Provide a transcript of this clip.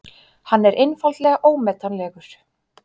Hann er einfaldlega ómetanlegur.